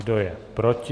Kdo je proti?